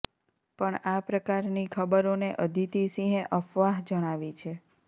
પણ આ પ્રકારની ખબરોને અદિતિ સિંહે અફવાહ જણાવી છે